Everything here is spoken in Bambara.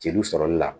Jeliw sɔrɔli la